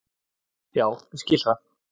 Já ég skil það.